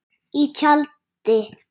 Í tjaldi.